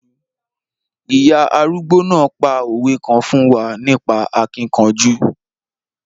Ìya arúgbó náà pa òwe kan fún wa nípa akíkanjú.